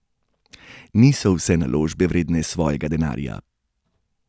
Niso vse naložbe vredne svojega denarja!